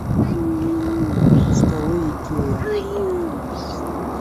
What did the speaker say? столы икеа